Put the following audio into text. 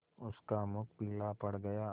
उसका मुख पीला पड़ गया